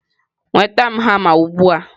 nweta m hama ugbu a!.